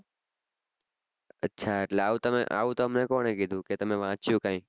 અચ્છા એટલે આવું આવું તમે કોને કીધું કે તમે વાંચ્યું કાઈ